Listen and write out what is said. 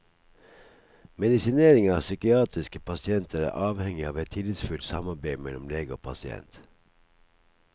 Medisinering av psykiatriske pasienter er avhengig av et tillitsfullt samarbeid mellom lege og pasient.